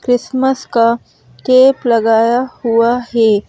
Christmas का cake लगाया हुआ है।